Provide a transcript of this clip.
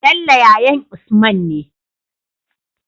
Bello yayan usman ne